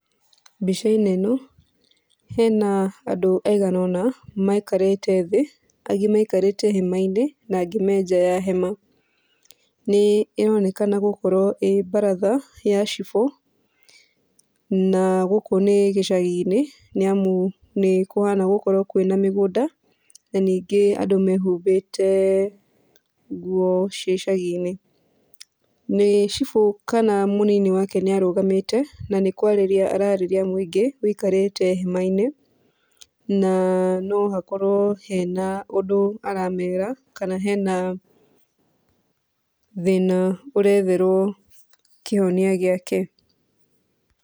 Mbica-inĩ ĩno, hena andũ aigana ũna maikarĩte thĩ, agĩ maikarĩte hema-inĩ na angĩ menja wa hema. Nĩ ĩronekana gũkorwo ĩ baratha ya cibũ, na gũkũ nĩ gĩcagi-inĩ, nĩamu nĩkũhana gũkorwo kwĩna mĩgũnda na ningĩ andũ mehumbĩte nguo cia icagi-inĩ. Nĩ cibũ kana mũnini wake nĩarũgamĩte na nĩkwarĩria ararĩria mũingĩ wĩikarĩte hema-inĩ, na nohakorwo hena ũndũ aramera, kana hena thĩna ũretherwo kĩhonia gĩake.